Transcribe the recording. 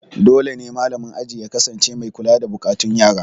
Dole ne malamin aji ya kasance mai kula da buƙatun yaro.